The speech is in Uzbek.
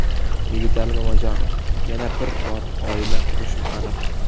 Yigitali Mamajonov: Yana bir bor oila qurishim aniq.